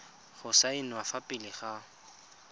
go saenwa fa pele ga